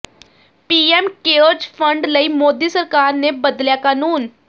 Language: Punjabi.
ਪੀਐਮ ਕੇਅਰਜ਼ ਫੰਡ ਲਈ ਮੋਦੀ ਸਰਕਾਰ ਨੇ ਬਦਲਿਆ ਕਾਨੂੰਨ